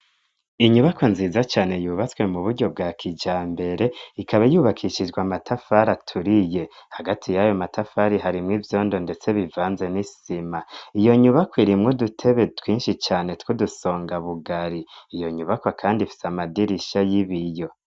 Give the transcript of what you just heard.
Inyubakwa nziza cyane yubatswe mu buryo bwa kija mbere ikaba yubakishijwa matafari aturiye hagati y'ayo matafari hari mwe ibyondo ndetse bivanze n'isima iyo nyubako irimwe dutebe twinshi cyane twudusonga bugari iyo nyubako kandi ifitse amadirisha y'ibiyo.